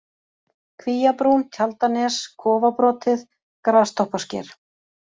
Kvíabrún, Tjaldanes, Kofabrotið, Grastoppasker